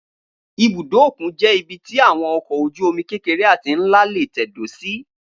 Ibùdó òkun jẹ́ ibi tí àwọn ọkọ̀ ojú-omi kékeré àti nlá nlá lè tẹ̀dó sí